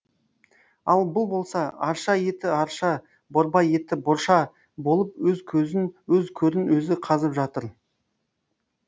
ал бұл болса арша еті арша борбай еті борша болып өз көрін өзі қазып жатыр